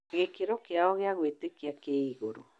Gĩkĩro kĩao gĩa kwĩĩtĩkia kĩ igũrũ.